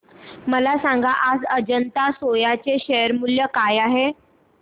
मला सांगा आज अजंता सोया चे शेअर मूल्य काय आहे